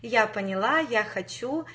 я поняла я хочу